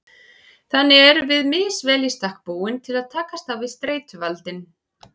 Þannig erum við misvel í stakk búin til að takast á við streituvaldinn.